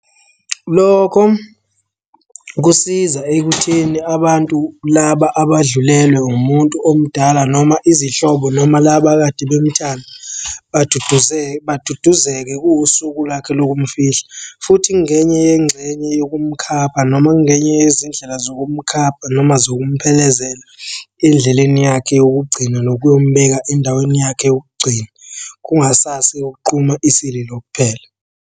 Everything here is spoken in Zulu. Lokho kusiza ekutheni abantu laba abadlulelwe umuntu omdala noma izihlobo noma laba ekade bemthanda baduduzeke kuwusuku lakhe lokumfihla, futhi ngenye yengxenye yokumkhapha noma kungenye yezindlela zokumkhapha noma zokumphelezela endleleni yakhe yokugcina nokuyombeka endaweni yakhe yokugcina. Kungasase kuqhuma isililo kuphela.